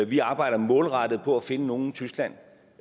vi arbejder målrettet på at finde nogle i tyskland